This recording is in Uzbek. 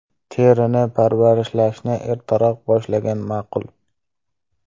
Terini parvarishlashni ertaroq boshlagan ma’qul.